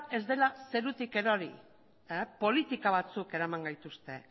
ez dela zerutik erori politika batzuk eraman gaituzte